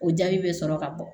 O jaabi bɛ sɔrɔ ka bɔ